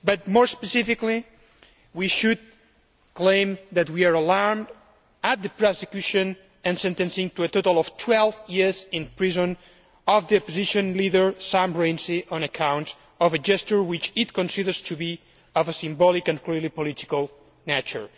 More specifically, we should state that we are alarmed at the prosecution and sentencing to a total of 12 years in prison of the opposition leader, Sam Rainsy, on account of a gesture which it considers to be of a symbolic and clearly political nature.